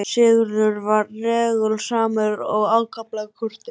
Sigurður var reglusamur og ákaflega kurteis.